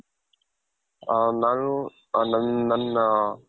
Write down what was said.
ಹ ನಾನು ನನ್ ನನ್ನಾ